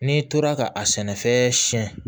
N'i tora ka a sɛnɛfɛn siɲɛ